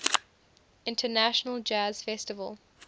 international jazz festival